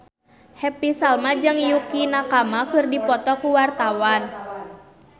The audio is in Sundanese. Happy Salma jeung Yukie Nakama keur dipoto ku wartawan